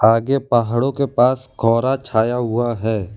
आगे पहाड़ों के पास कोहरा छाया हुवा हैं।